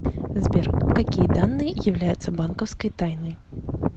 сбер какие данные являются банковской тайной